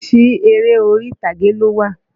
Oríṣi eré orí-ìtàgé ló wà.